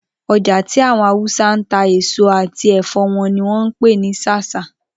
Oja ti awon Hausa n ta eso ati ẹfọ won ni won n pe ni Sasa